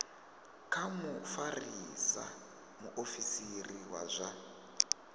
kha mufarisa muofisiri wa zwa